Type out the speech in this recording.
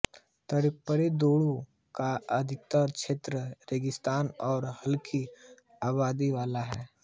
Tarim द्रोणी का अधिकतर क्षेत्र रेगिस्तानी है और हलकी आबादी वाला है